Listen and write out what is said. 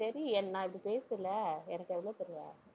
சரி நான் இப்படி பேசல எனக்கு எவ்வளவு தருவ?